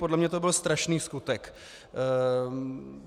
Podle mě to byl strašný skutek.